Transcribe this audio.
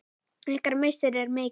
Ykkar missir er mikill.